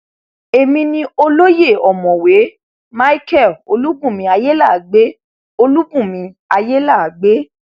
èmi ni olóye ọmọwé micheal olùbùnmi ayéláàgbé olùbùnmi ayéláàgbé